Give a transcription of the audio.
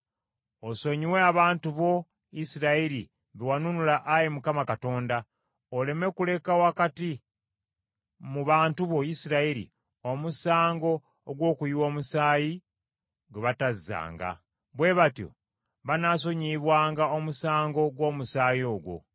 Osonyiwe abantu bo, Isirayiri, be wanunula Ayi Mukama Katonda, oleme kuleka wakati mu bantu bo, Isirayiri, omusango ogw’okuyiwa omusaayi, gwe batazzanga.” Bwe batyo banaasonyiyibwanga omusango gw’omusaayi ogwo.